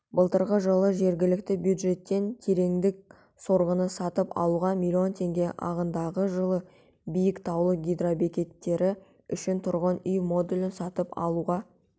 былтырғы жылы жергілікті бюджеттен тереңдік сорғыны сатып алуға миллион теңге ағымдағы жылы биік таулы гидробекеттері үшін тұрғын үй модулін сатып алуға